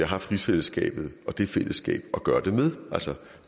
haft rigsfællesskabet og det fællesskab at gøre det med altså